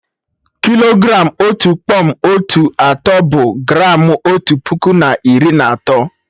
Kilogram Otu kpọm otu atọ, bụ gramụ otu puku na iri na atọ